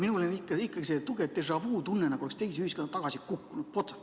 Minul on ikkagi selline tugev déjà‑vu‑tunne, nagu oleks teise ühiskonda tagasi kukkunud, potsti.